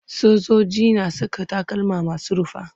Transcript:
Sojoji na saka takalma masu rufa.